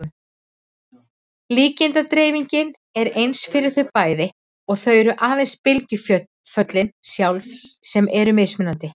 Líkindadreifingin er eins fyrir þau bæði og það eru aðeins bylgjuföllin sjálf sem eru mismunandi.